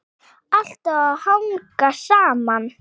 Allt á að hanga saman.